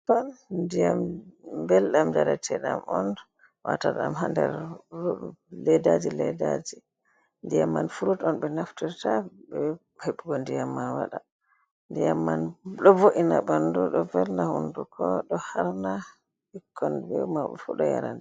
Ndiyam belɗam jarateɗam on wata ɗam ha nder leddaji leddaji ndiyam man furut on be naftirta be hebugo ndiyam man waɗa ndiyam man do vo’ina ɓandu do velna hunduko do harna ɓikkon fu ɗo yara.